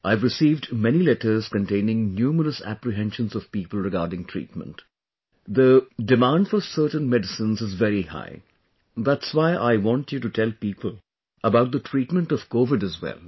I have received many letters containing numerous apprehensions of people regarding treatment...the demand for certain medicines is very high...that's why I want you to tell people about the treatment of Covid, as well